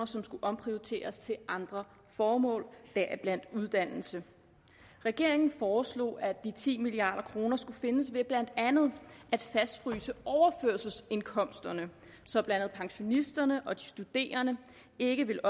som skulle omprioriteres til andre formål deriblandt uddannelse regeringen foreslog at de ti milliard kroner skulle findes ved blandt andet at fastfryse overførselsindkomsterne så blandt andet pensionisterne og de studerende ikke ville